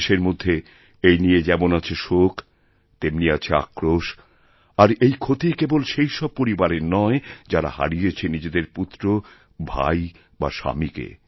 দেশের মধ্যে এই নিয়ে যেমন আছে শোক তেমনি আছে আক্রোশ আর এই ক্ষতিকেবল সেই সব পরিবারের নয় যারা হারিয়েছে নিজেদের পুত্র ভাই বা স্বামীকে